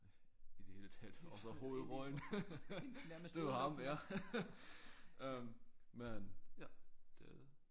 I det hele taget og så hovedrollen det var ham ja øh men ja det